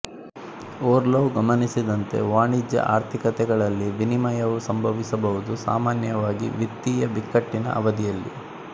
Orlov ಗಮನಿಸಿದಂತೆ ವಾಣಿಜ್ಯ ಆರ್ಥಿಕತೆಗಳಲ್ಲಿ ವಿನಿಮಯವು ಸಂಭವಿಸಬಹುದು ಸಾಮಾನ್ಯವಾಗಿ ವಿತ್ತೀಯ ಬಿಕ್ಕಟ್ಟಿನ ಅವಧಿಯಲ್ಲಿ